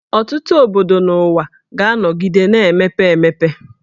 Ọtụtụ obodo n'ụwa ga-anọgide na-emepe emepe